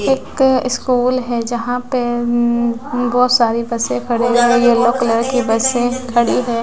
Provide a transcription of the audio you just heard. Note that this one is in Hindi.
एक स्कूल है जहाँ पे बहुत सारी बसे खड़ी है यलो कलर की बसें खड़ी हैं।